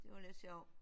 Det var lidt sjovt